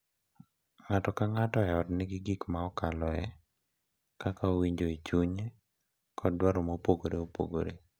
Ng’ato ka ng’ato e ot nigi gik ma okaloe, kaka owinjo e chunye, kod dwaro mopogore opogore,